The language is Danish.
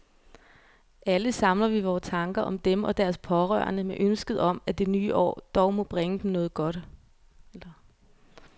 Alle samler vi vore tanker om dem og deres pårørende med ønsket om, at det nye år dog må bringe dem meget godt.